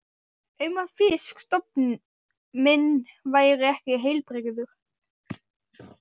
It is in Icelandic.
um að fisk- stofn minn væri ekki heilbrigður.